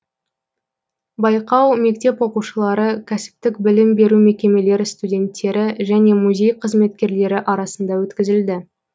байқау мектеп оқушылары кәсіптік білім беру мекемелері студенттері және музей қызметкерлері арасында өткізілді